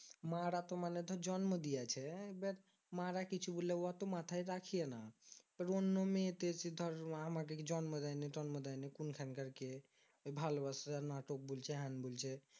মারা তো মানে ধর জন্ম দিয়েছে এবার মা রা কিছু বললে হতো মাথায় রাখিয়েনা এবার অন্য মেয়েতে এসে ধর আমাকে জন্ম দেয়নি তন্ম দেয়নি কোন খানকার কে ওই ভালোবাসার নাটক বলছে হ্যান বলছে